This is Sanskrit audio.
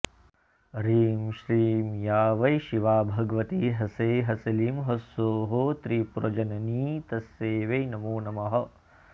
ह्रीं श्रीं या वै शिवा भगवती ह्सै हसलीं ह्सौः त्रिपुरजननी तस्यै वै नमो नमः